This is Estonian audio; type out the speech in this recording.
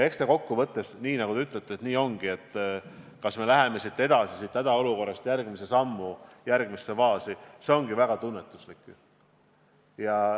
Eks ta kokkuvõttes ongi nii, nagu te ütlesite, et see, kas me läheme siit hädaolukorrast edasi järgmisesse faasi, on väga tunnetuslik.